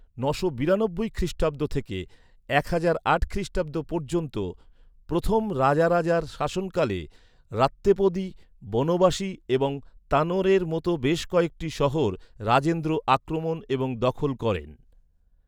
নশো নিরানব্বই খ্রীষ্টাব্দ থেকে এক হাজার আট খ্রীষ্টাব্দ পর্যন্ত প্রথম রাজারাজার শাসনকালে, রাত্তেপদী, বনবাসী এবং তানোরের মতো বেশ কয়েকটি শহর রাজেন্দ্র আক্রমণ এবং দখল করেন।